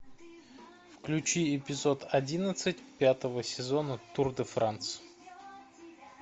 включи эпизод одиннадцать пятого сезона тур де франс